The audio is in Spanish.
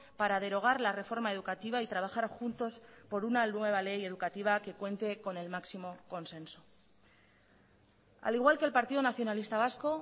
para derogar la reforma educativa y trabajar juntos por una nueva ley educativa que cuente con el máximo consenso al igual que el partido nacionalista vasco